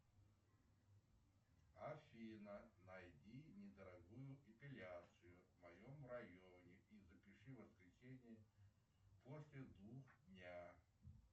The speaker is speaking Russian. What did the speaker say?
афина найди недорогую эпиляцию в моем районе и запиши в воскресенье после двух дня